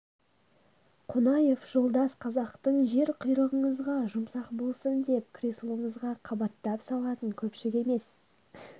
қонаев жолдас қазақтың жер құйрығыңызға жұмсақ болсын деп креслоңызға қабаттап салатын көпшік емес